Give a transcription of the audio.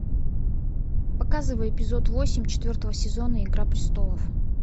показывай эпизод восемь четвертого сезона игра престолов